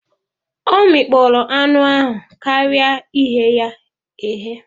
Ọ mikpọrọ anụ ahụ karịa ighe ya eghe